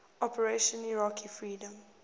operation iraqi freedom